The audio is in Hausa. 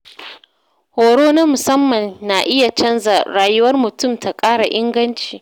Horo na musamman yana iya canza rayuwar mutum ta ƙara inganci.